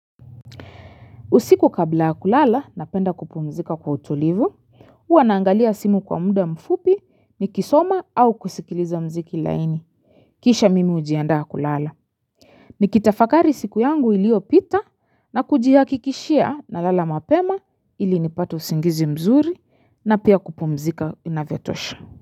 Usiku kabla ya kulala napenda kupumzika kwa utulivu, huwa naangalia simu kwa mda mfupi nikisoma au kusikiliza mziki laini. Kisha mimi hujiandaa kulala. Nikitafakari siku yangu iliyopita na kujihakikishia nalala mapema ili nipate usingizi mzuri na pia kupumzika inavyotosha.